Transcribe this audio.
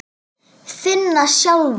Finna sjálfa sig.